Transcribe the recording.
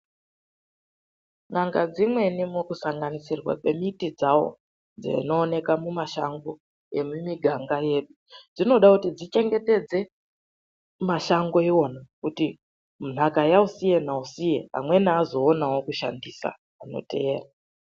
N'ANGA DZIMWENI MUKUSANGANISIRWA KWEMITI DZAWO DZINOONEKWA MUMASHANGO EMUMUGANGA MWEDU DZINODA KUTI TICHENGETEDZE MASHANGO IWONA KUTI NHAKA YAUSIYE NAUSIYE AMWENI AZOONAWO KUSHANDISA ANOTEERA